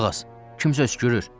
Qulaq as, kimsə öskürür.